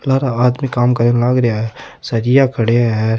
लारा आदमी काम करे लाग रेया है सरिया खड़े है।